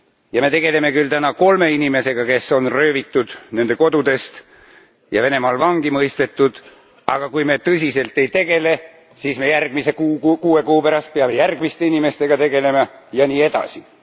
Ja me tegeleme küll täna kolme inimesega, kes on röövitud nende kodudest ja Venemaal vangi mõistetud, aga kui me tõsiselt ei tegele, siis me järgmise kuue kuu pärast peame järgmiste inimestega tegelema ja nii edasi.